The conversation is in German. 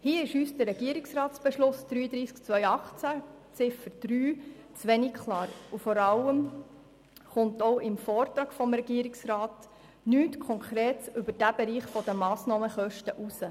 Hier ist uns die Ziffer 3 des Regierungsratsbeschlusses (RRB 33/2018) zu wenig klar, und vor allem geht aus dem Vortrag des Regierungsrats nichts Konkretes über diesen Bereich der Massnahmenkosten hervor.